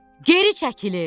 Geri çəkilin.